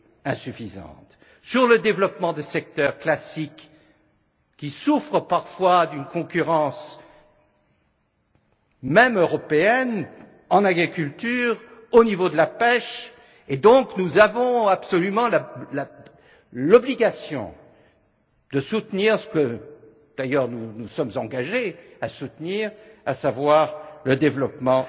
insuffisante, sur le développement de secteurs classiques qui souffrent parfois d'une concurrence, même européenne, en agriculture, au niveau de la pêche, et nous avons donc l'obligation absolue de soutenir ce que d'ailleurs nous nous sommes engagés à soutenir, à savoir le développement